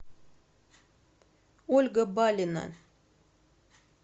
ольга балина